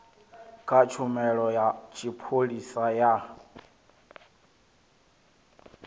kha tshumelo ya tshipholisa ya